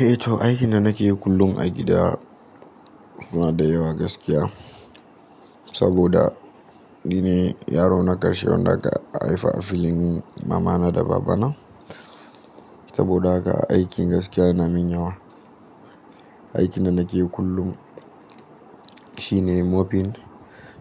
Eh to, aikin da nake yi kullum agida suna da yawa gaskiya. Saboda ni ne yaro na ƙarshe wanda aka haifa a filin mamana da babana. Saboda haka aikin gaskiya na min yawa. Aikin da nake yi kullum shine mopping,